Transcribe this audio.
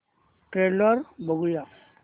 trailer बघूया